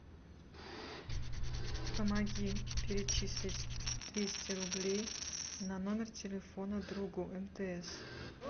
помоги перечислить двести рублей на номер телефона другу мтс